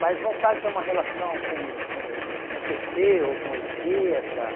Mais vontade de ter uma relação com o com o com o pê cê ou com a esquerda.